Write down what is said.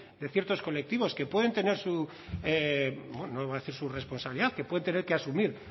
de ciertos colectivos que pueden tener su no voy a decir su responsabilidad que pueden tener que asumir